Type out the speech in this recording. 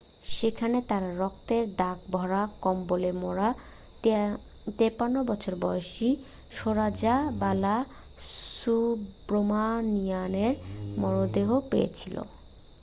সেখানে তারা রক্তের দাগ ভরা কম্বলে মোড়া 53 বছর বয়সী সরোজা বালাসুব্রামানিয়ানের মরদেহ পেয়েছিল